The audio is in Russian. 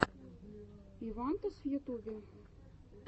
ивантез в ютюбе